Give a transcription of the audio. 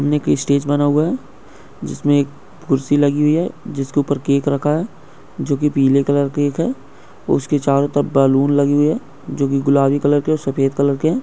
सामने एक स्टेज बना हुआ है जिसमे एक कुर्सी लगी हुई है जिस के ऊपर केक रखा है जोकि पीले कलर केक है उसके चारो तरफ बलुन लगे हुए है जोकि गुलाबी कलर के ओर सफेद कलर के है।